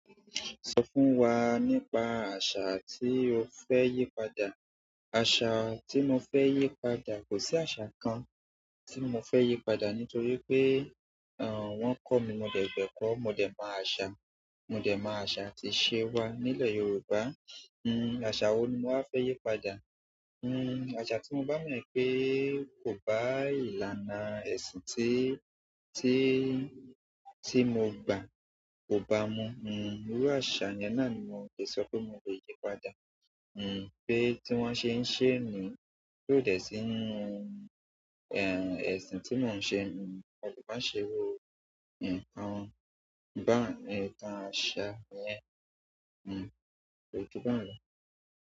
Sọ fún wa nípa àṣà tí o fẹ́ yí padà. Àṣà tí mo fẹ́ yí padà, kò sí àṣà kan tí mo fẹ́ yí padà nítorí pé, wọ́n kọ́ mi, mo dẹ̀gbẹ́ kọ́, mo dẹ̀ mọ àṣà. Mo dẹ̀ mọ àṣà atí iṣẹ́ wà nílẹ̀ Yorùbá. Hmm àṣà wo ni máa fẹ́ yí padà? Hmm àṣà tí mo bá mọ̀ pé kò bá ìlànà ẹ̀sìn tí, tí, tí mo gba kò bá mu. Hmm irú àṣà yẹn náà ni mo le sọ pé mo le yí padà. Hmm pé tí wọ́n ṣe ń ṣe niyen ti o dẹ̀ sí nínú, ẹ̀sìn tí mò ń ṣe. Wọn kò bá ṣe irú, nǹkan bá nǹkan àṣà yẹn. Ko ju ba un lo.